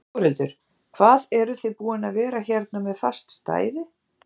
Þórhildur: Hvað eruð þið búin að vera hérna með fast stæði?